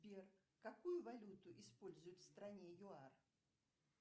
сбер какую валюту используют в стране юар